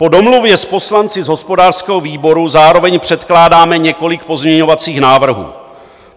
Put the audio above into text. Po domluvě s poslanci z hospodářského výboru zároveň předkládáme několik pozměňovacích návrhů.